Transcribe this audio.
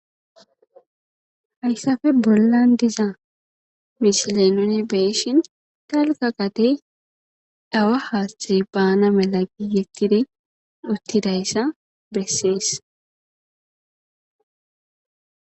hayssafe bollan diza misile nuni be'ishin dalga gadey awa haathey baana mela gigettidi uttidayssa bessees